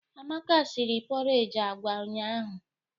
Amaka sịrị pọreji agwa ụnyahụ.